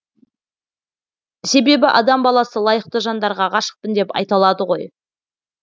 себебі адам баласы лайықты жандарға ғашықпын деп айта алады ғой